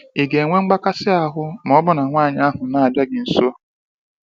ị ga enwe mgbakasi ahụ maọbu na nwanyị ahụ na abịa gị nso?